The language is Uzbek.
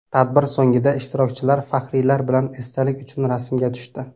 Tadbir so‘ngida ishtirokchilar faxriylar bilan esdalik uchun rasmga tushdi.